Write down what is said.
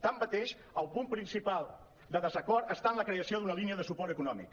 tanmateix el punt principal de desacord està en la creació d’una línia de suport eco·nòmic